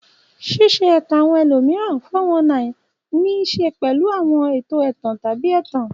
Ṣíṣe ẹ̀tàn àwọn ẹlòmíràn (419) ní í ṣe pẹ̀lú àwọn ètò ẹ̀tàn tàbí ẹ̀tàn.